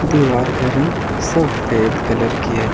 दीवार का रंग सफेद कलर की है।